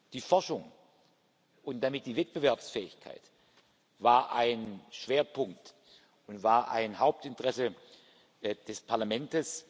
Die Forschung und damit die Wettbewerbsfähigkeit war ein Schwerpunkt und war ein Hauptinteresse des Parlaments.